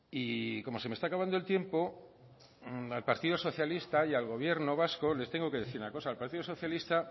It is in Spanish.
y como se me está acabando el tiempo al partido socialista y al gobierno vasco les tengo que decir una cosa al partido socialista